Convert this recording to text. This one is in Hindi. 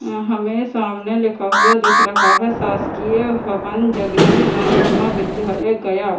अ अ हमें सामने लिखा हुआ दिख रहा है शासकीय हवन जगजीवन महाविद्यालय गया।